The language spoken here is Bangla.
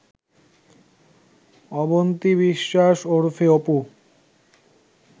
অবন্তি বিশ্বাস ওরফে অপু